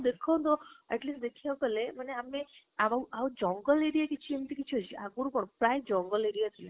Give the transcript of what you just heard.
ଦେଖନ୍ତୁ at least ଦେଖିବାକୁ ହେଲେ ଆମେ ଆଉ ଆଉ ଜଙ୍ଗଲ area କିଛି ଏମିତି କିଛି ଆହରୁ କଣ, ପ୍ରାୟ ଜଙ୍ଗଲ area ଥିଲା